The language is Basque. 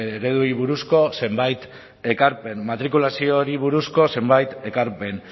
ereduei buruzko zenbait ekarpen matrikulazio hori buruzko zenbait ekarpen